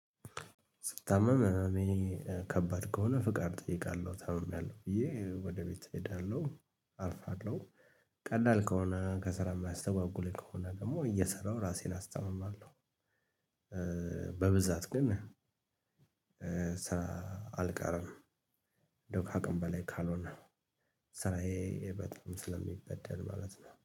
ስታመምም እኔ ከባድ ከሆነ ፍቃድ እጠይቃለሁ ታምሚያለሁ ብዬ ወደ ቤት እሄዳለሁ አልፋለሁ ቀላል ከሆነ ከስራ የሚያስተጓጉለኝ ከሆነ ደግሞ እየሰራሁ ራሴን አስተምማለሁ። በብዛት ግን አልቀርም። እንደው ከአቅም በላይ ካልሆነ ስራዬ በጣም ስለሚበደል ማለት ነው